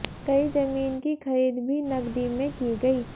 कई जमीन की खरीद भी नकदी में की गई